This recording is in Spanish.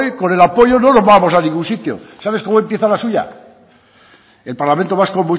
con el apoyo no nos vamos a ningún sitio sabe cómo empieza la suya el parlamento vasco